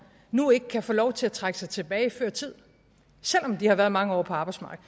nu ikke kan få lov til at trække sig tilbage før tid selv om de har været mange år på arbejdsmarkedet